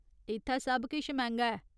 इत्थै सब किश मैंह्गा ऐ ।